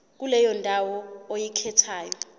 kuleyo ndawo oyikhethayo